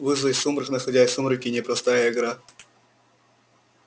вызвать сумрак находясь в сумраке непростая игра